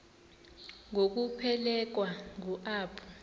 ngokuphelekwa ngu apho